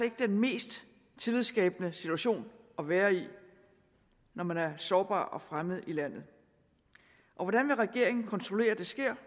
ikke den mest tillidsskabende situation at være i når man er sårbar og fremmed i landet og hvordan vil regeringen kontrollere at det sker